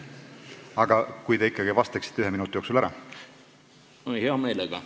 Aga kui te ikkagi vastaksite ühe minuti jooksul ära?